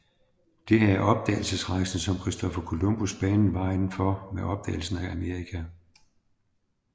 Det havde opdagelsesrejsende som Christoffer Columbus banet vejen for med opdagelsen af Amerika